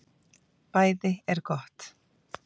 BÆÐI ER GOTT